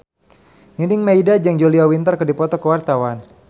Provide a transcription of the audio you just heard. Nining Meida jeung Julia Winter keur dipoto ku wartawan